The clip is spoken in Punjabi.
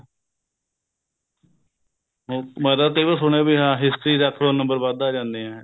ਉਹ ਮੈਂ ਤਾਂ ਕਈ ਵਾਰ ਸੁਣਿਆ ਵੀ ਹਾਂ history ਰੱਖ ਲੋ number ਵੱਧ ਆ ਜਾਂਦੇ ਏ